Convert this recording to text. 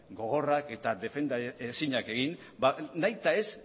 gogorrak eta defendaezinak egin nahita ez